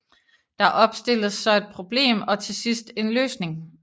Der opstilles så et problem og til sidst en løsning